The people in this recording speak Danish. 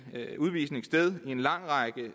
udvisning sted ved en lang række